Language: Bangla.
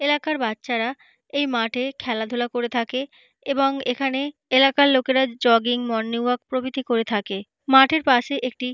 এলাকার বাচ্চারা এই মাঠে খেলাধুলা করে থাকে এবং এখানে এলাকার লোকেরা জগিং মর্নিং ওয়াক প্রভৃতি করে থাকে। মাঠের পাশে একটি--